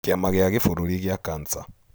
Kĩama gĩa kĩbũrũri gĩa cancer.